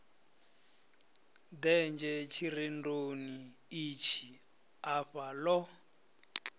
denzhe tshirendoni itshi afha lo